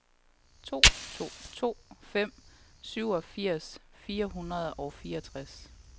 to to to fem syvogfirs fire hundrede og fireogtres